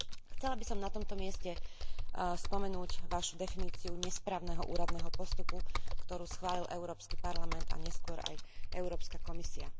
Chcela by som na tomto mieste spomenúť vašu definíciu nesprávneho úradného postupu, ktorú schválil Európsky parlament a neskôr aj Európska komisia.